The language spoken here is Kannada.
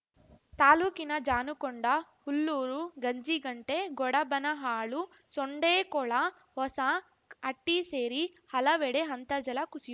ತಾಲೂಕಿನ ಜಾನುಕೊಂಡ ಹುಲ್ಲೂರು ಗಂಜಿಗಂಟೆ ಗೊಡಬನಹಾಳು ಸೊಂಡೇಕೊಳ ಹೊಸ ಹಟ್ಟಿಸೇರಿ ಹಲವೆಡೆ ಅಂತರ್ಜಲ ಕುಸಿಯು